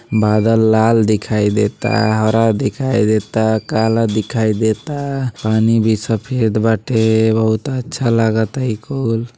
बादल लाल दिख इ देता हारा दिखाइ देताकाला दिखाइ देतापानी भि सफेद बाटे बहुत अच्छा लागता इ कुल --